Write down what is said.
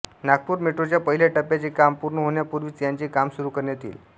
नागपूर मेट्रोच्या पहिल्या टप्प्याचे काम पूर्ण होण्यापूर्वीच याचे काम सुरू करण्यात येईल